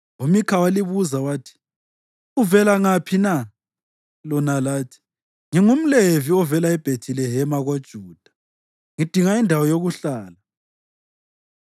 UMikha walibuza wathi, “Uvela ngaphi na?” Lona lathi, “NgingumLevi ovela eBhethilehema koJuda, ngidinga indawo yokuhlala.”